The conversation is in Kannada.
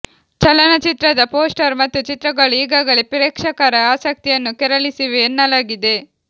ಚಲನಚಿತ್ರದ ಪೋಸ್ಟರ್ ಮತ್ತು ಚಿತ್ರಗಳು ಈಗಾಗಲೇ ಪ್ರೇಕ್ಷಕರ ಆಸಕ್ತಿಯನ್ನು ಕೆರಳಿಸಿವೆ ಎನ್ನಲಾಗಿದೆ